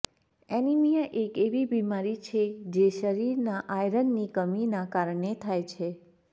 anaemia એક એવી બીમારી છે જે શરીરમાં આયરનની કમી નાં કારણે થાય છે